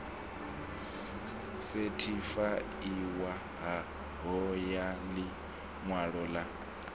sethifaiwaho ya ḽi ṅwalo ḽa